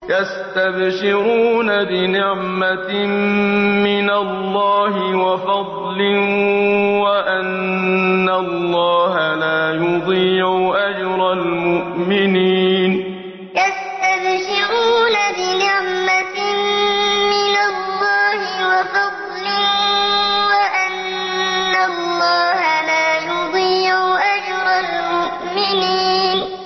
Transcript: ۞ يَسْتَبْشِرُونَ بِنِعْمَةٍ مِّنَ اللَّهِ وَفَضْلٍ وَأَنَّ اللَّهَ لَا يُضِيعُ أَجْرَ الْمُؤْمِنِينَ ۞ يَسْتَبْشِرُونَ بِنِعْمَةٍ مِّنَ اللَّهِ وَفَضْلٍ وَأَنَّ اللَّهَ لَا يُضِيعُ أَجْرَ الْمُؤْمِنِينَ